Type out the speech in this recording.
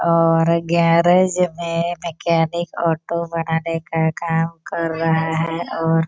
are garage में mechanic auto बनाने का काम कर रहा है और --